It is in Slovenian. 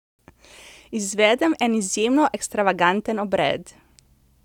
Izvedem en izjemno ekstravaganten obred!